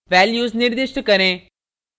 values निर्दिष्ट करें